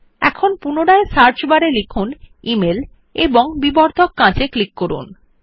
এখন পুনরায় search bar এ লিখুন ইমেইল এবং বিবর্ধক কাঁচ এ ক্লিক করুন